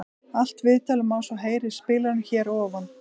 Allt viðtalið má svo heyra í spilaranum hér að ofan.